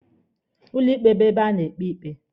Ụlọ ikpe bụ ebe a na-ekpe ikpe.